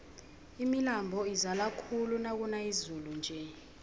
imilambo izala khulu nakuna izulu nje